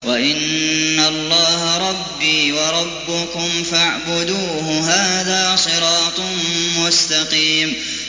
وَإِنَّ اللَّهَ رَبِّي وَرَبُّكُمْ فَاعْبُدُوهُ ۚ هَٰذَا صِرَاطٌ مُّسْتَقِيمٌ